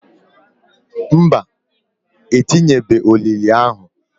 Mba, etinyebeghi olili ahu.